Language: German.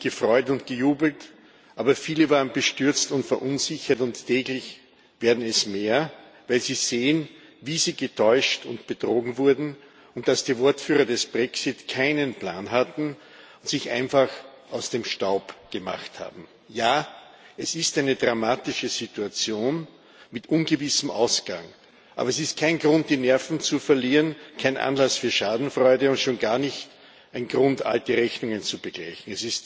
Viele haben sich gefreut und gejubelt, aber viele waren bestürzt und verunsichert, und täglich werden es mehr, weil sie sehen, wie sie getäuscht und betrogen wurden und dass die Wortführer des Brexit keinen Plan hatten und sich einfach aus dem Staub gemacht haben. Ja, es ist eine dramatische Situation, mit ungewissem Ausgang. Es ist aber kein Grund, die Nerven zu verlieren, kein Anlass für Schadenfreude und schon gar nicht ein Grund, alte Rechnungen zu begleichen.